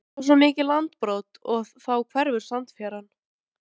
Það var svo mikið landbrot og þá hverfur sandfjaran.